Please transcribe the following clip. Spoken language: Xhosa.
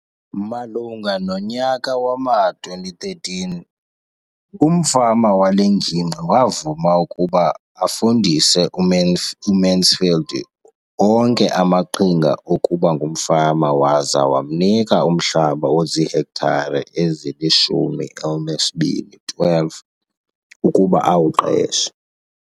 Malunga nonyaka wama-2013, umfama wale ngingqi wavuma ukuba afundise uMansfield onke amaqhinga okuba ngumfama waza wamnika umhlaba ozihektare ezili-12 ukuba awuqeshe.